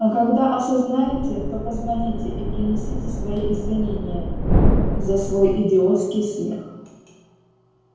а когда осознаете то позвоните и принесите свои извинения за свой идиотский смех